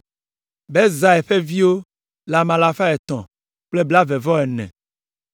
Bezai ƒe viwo le ame alafa etɔ̃ kple blaeve-vɔ-ene (324).